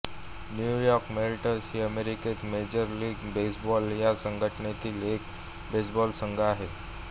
new York Mets ही अमेरिकेत major league baseball या संघटनेतील एक बेसबॉल संघ आहे